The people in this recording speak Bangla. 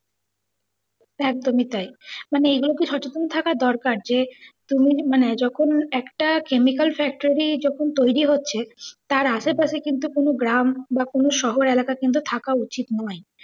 একদমই তাই। মানে এগুলো তো সচেতন থাকা দরকার যে তুমি মানে যখন একটা কেমিক্যাল factory যখন তৈরি হচ্ছে টার আশেপাশে কিন্তু কোনও গ্রাম বা কোনও শহর এলাকা কিন্তু থাকা উচ্ছিত না।